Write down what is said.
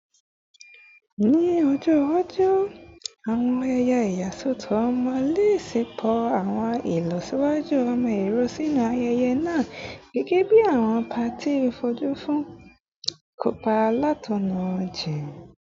Ni ọjọ iwaju, awọn ayẹyẹ iyasọtọ ọmọ le ṣepọ awọn ilọsiwaju imọ-ẹrọ sinu ayẹyẹ naa, gẹgẹbi awọn paati foju fun ikopa latọna jijin